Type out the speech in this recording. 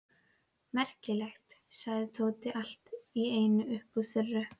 Merkilegt! sagði Tóti allt í einu upp úr þurru.